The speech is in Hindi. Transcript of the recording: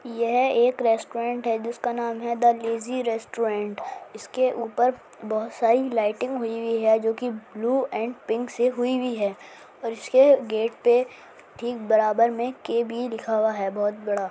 यह एक रेस्टोरेंट है जिसका नाम है द लेज़ी रेस्टोरेंट इसके ऊपर बहुत सारी लाइटिंग हुई है जो की ब्लू एंड पिंक से हुई है और इसके गेट पे ठीक बराबर में के भी लिखा हुआ है बहुत बड़ा।